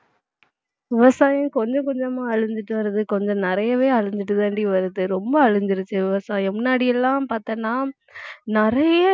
விவசாயம் கொஞ்சம் கொஞ்சமா அழிஞ்சுட்டு வருது கொஞ்சம் நிறையவே அழிஞ்சிட்டுதாண்டி வருது ரொம்ப அழிஞ்சிருச்சு விவசாயம் முன்னாடி எல்லாம் பார்த்தேன்னா நிறைய